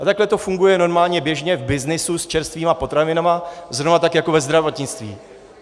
A takhle to funguje normálně, běžně v byznysu s čerstvými potravinami, zrovna tak jako ve zdravotnictví.